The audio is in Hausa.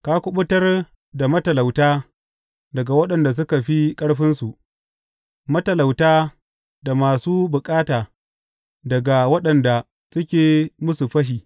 Ka kuɓutar da matalauta daga waɗanda suka fi ƙarfinsu, matalauta da masu bukata daga waɗanda suke musu fashi.